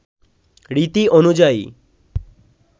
রীতি অনুযায়ী